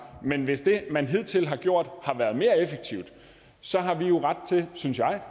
men hvis det man hidtil har gjort har været mere effektivt så har vi jo ret til synes jeg